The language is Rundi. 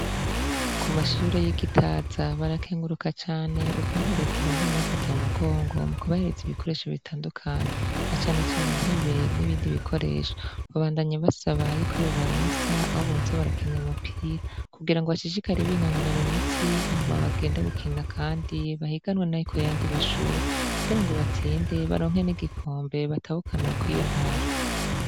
ku mashure y’ iGitaza barakenguruka cane ukuntu leta ibandanya Ibafata mumugongo mu ku bahereza ibikoresho bitandukanye na cane cane intebe n'ibindi bikoresho babandanya basaba yuko yobaronsa aho boza barakinir’umupira kugira ngo bashishikare binonora imitsi hama bagenda gukinda kandi bahiganwe no kuyandi mashuri kugira ngo batsinde baronke n'igikombe batahukana kuriyo ntara.